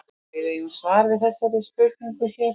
Við eigum svar við þessari spurningu hér.